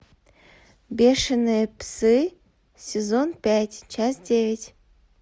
бешеные псы сезон пять часть девять